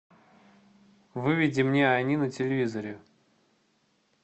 выведи мне они на телевизоре